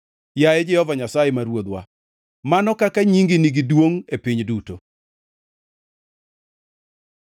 Yaye Jehova Nyasaye, ma Ruodhwa, mano kaka nyingi nigi duongʼ e piny duto!